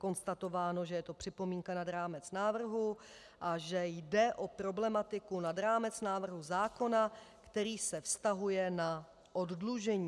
Konstatováno, že je to připomínka nad rámec návrhu a že jde o problematiku nad rámec návrhu zákona, který se vztahuje na oddlužení.